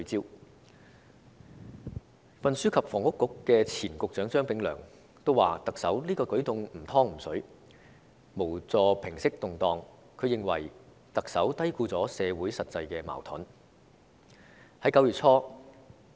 前運輸及房屋局局長張炳良也說特首這樣的舉動"唔湯唔水"，無助平息動盪，他認為特首低估了社會的實際矛盾。